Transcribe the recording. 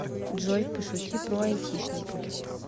джой пошути про айтишников